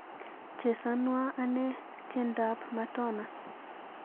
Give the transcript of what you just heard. Chesanwon anee tyendap matona